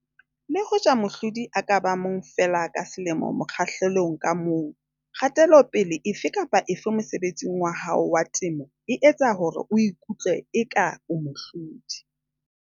Le hoja mohlodi a ka ba mong feela ka selemo mokgahlelong ka mong, kgatelopele efe kapa efe mosebetsing wa hao wa temo e etsa hore o ikutlwe eka o mohlodi.